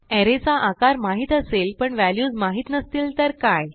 अरे चा आकार माहित असेल पण व्हॅल्यूज माहित नसतील तर काय